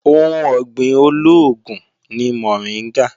Ohun ọ̀gbìn olóògùn ni mọ̀ríngà